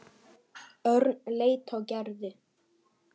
Örn leit á Gerði.